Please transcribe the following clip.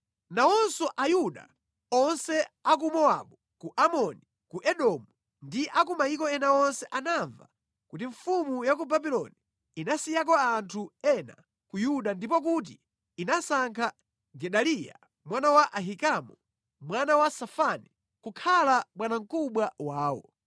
Nawonso Ayuda onse a ku Mowabu, ku Amoni, ku Edomu ndi a ku mayiko ena onse anamva kuti mfumu ya ku Babuloni inasiyako anthu ena ku Yuda ndipo kuti inasankha Gedaliya mwana wa Ahikamu, mwana wa Safani, kukhala bwanamkubwa wawo.